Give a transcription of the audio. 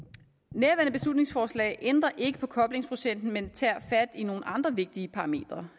nærværende beslutningsforslag ændrer ikke på koblingsprocenten men tager fat i nogle andre vigtige parametre